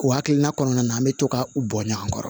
O hakilina kɔnɔna na an bɛ to ka u bɔ ɲɔgɔn kɔrɔ